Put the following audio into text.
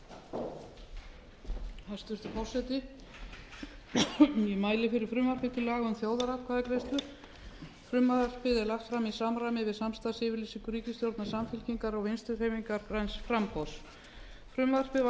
forseti ég mæli fyrir frumvarpi til laga um þjóðaratkvæðagreiðslur frumvarpið er lagt fram í samræmi við samstarfsyfirlýsingu ríkisstjórnar samfylkingar og vinstri hreyfingarinnar græns framboðs frumvarpið var